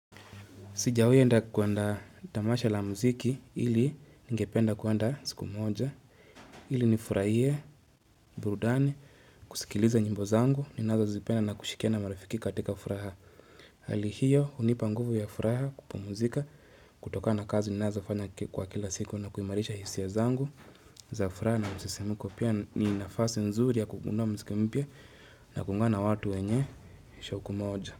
Sijawai enda kuenda tamasha la muziki ili ningependa kuenda siku moja, ili nifurahie, burudani, kusikiliza nyimbo zangu, ninazozipenda na kushikia na marifiki katika furaha. Hali hiyo, hunipa nguvu ya furaha kupumuzika, kutokana na kazi ninazofanya kwa kila siku na kuimarisha hisia zangu za furaha na msisimuko pia ni nafasi nzuri ya kugundua mziki mpia na kuungana watu wenye shauku moja.